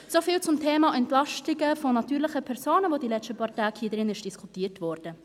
So viel zum Thema Entlastung natürlicher Personen, welches in den letzten Tagen hier diskutiert wurde.